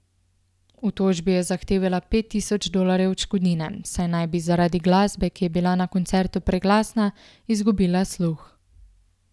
V tožbi je zahtevala pet tisoč dolarjev odškodnine, saj naj bi zaradi glasbe, ki je bila na koncertu preglasna, izgubila sluh.